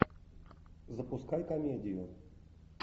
запускай комедию